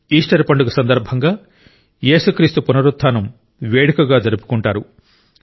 Easter పండుగ సందర్భంగా యేసుక్రీస్తు పునరుత్థానం వేడుకగా జరుపుకుంటారు